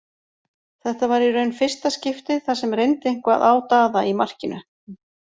Þetta var í raun fyrsta skiptið þar sem reyndi eitthvað á Daða í markinu.